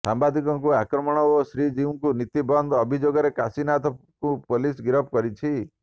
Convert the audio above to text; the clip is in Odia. ସାମ୍ୱାଦିକଙ୍କୁ ଆକ୍ରମଣ ଓ ଶ୍ରୀଜୀଉଙ୍କ ନୀତି ବନ୍ଦ ଅଭିଯୋଗରେ କାଶୀନାଥଙ୍କୁ ପୋଲିସ୍ ଗିରଫ କରିଛି